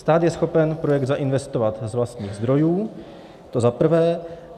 Stát je schopen projekt zainvestovat z vlastních zdrojů, to za prvé.